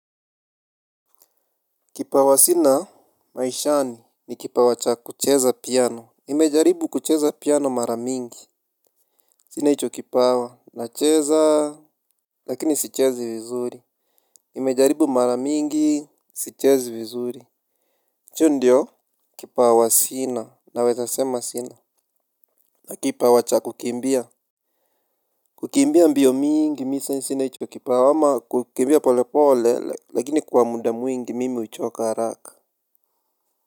Kipawa sina maishani, ni kipawa cha kucheza piano. Nimejaribu kucheza piano mara nyingi. Sina hicho kipawa, nacheza. Lakini sichezi vizuri. Nimejaribu mara nyingi, sichezi vizuri. Hicho ndicho kipawa sina. Naweza sema sina. Na kipawa cha kukimbia. Kukimbia mbio nyingi mimi sina hicho kipawa, ama kukimbia pole pole lakini kwa muda mwingi mimi huchoka haraka.